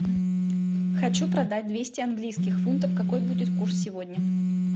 хочу продать двести английских фунтов какой будет курс сегодня